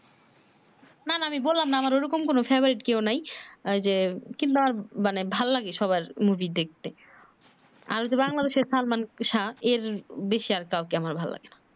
না না আমি বললাম না আমার ঐ রকম কোন favorite কেও নাই আহ ঐ যে কিন্তু ভালো লাগে সবার মুভি দেখতে আর যে বাংলাদেশে সালমান শাহ এর বেশি আর কাউকে আমার ভালো লাগে না